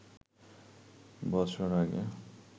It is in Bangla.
বছর আগে